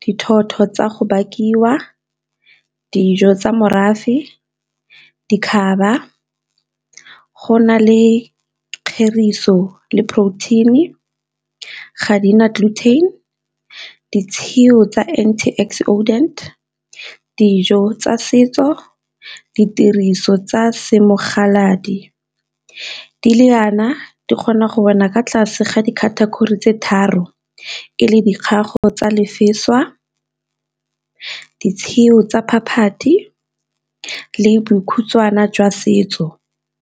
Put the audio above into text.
dithotho tsa go bakiwa, dijo tsa morafe, go na le kgerisa go le protein-e, ga di na , ditshio tsa anti oxidant, dijo tsa setso, di tiriso tsa , di le jaana di kgona go wela ka tlase ga di-category tse tharo e le , ditshio tsa phaphathi le bokhutshwana jwa setso.